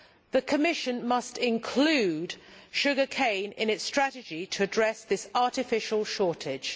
The Commission must include sugar cane in its strategy in order to address this artificial shortage.